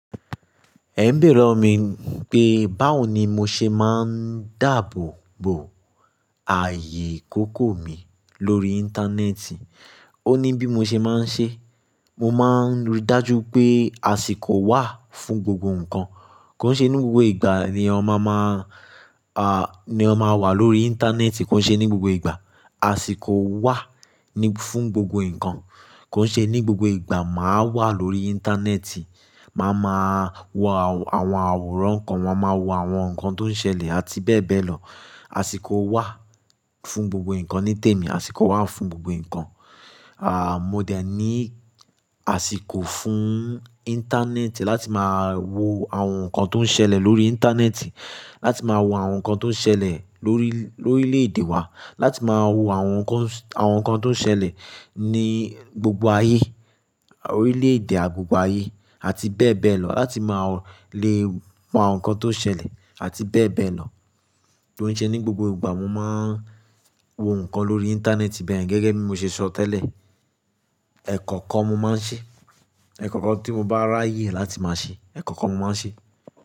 Ẹ ń bẹ̀re lọwọ mi pé báwo ni mo ṣe máa ń dáàbòbo? Ààyè ìkókó mi lórí Íńtánẹ́ẹ̀tì? Ó ní bí mo ṣe máa ń ṣe, mo máa ń rí dájú pé àsìkò wà fún gbogbo ǹkan, kó ṣe ní gbogbo ìgbà ni ọ ma máa, ah, ni ọ ma máa wà lórí Íńtánẹ́ẹ̀tì, kó ṣe ní gbogbo ìgbà. Àsìkò wà ní fún gbogbo ǹkan kó ṣe ní gbogbo ìgbà màá wà lórí Íńtánẹ́ẹ̀tì, màá ma wo àwọn àwòrán ǹkan, má máa wò àwọn ǹkan tó ń ṣẹlẹ̀ àti bẹ́ẹ̀ bẹ́ẹ̀ lọ. Àsìkò wà fún gbogbo ǹkan ní tèmi, àsìkò wà fún gbogbo ǹkan. À, mo dẹ̀ ní àsìkò fún Íńtánẹ́ẹ̀tì láti máa wo àwọn ǹkan tó ń ṣẹlẹ̀ lórí Íńtánẹ́ẹ̀tì, láti máa wo àwọn ǹkan tó ń ṣẹlẹ̀ lórí, lórí orílè èdè wa, láti máa wo àwọn ǹkan, àwọn ǹkan tó ń ṣẹlẹ̀ ní gbogbo ayé, orílè èdè gbogbo ayé àti bẹ́ẹ̀ bẹ́ẹ̀ lọ, láti máa lè wo àwọn ǹkan tó ń ṣẹlẹ̀ àti bẹ́ẹ̀ bẹ́ẹ̀ lọ. Kò n ṣe ní gbogbo ìgbà mo máa ń wo ǹkan lórí Íńtánẹ́ẹ̀tì bẹ́yen gẹ́gẹ́ bí mo ṣe sọ tẹ́lẹ̀. Ẹ̀kọ̀kan mo máa ń ṣe, ẹ̀kọ̀kan tí mo bá ráyè láti máa ṣe, ẹ̀kọ̀kan mo máa ń ṣe.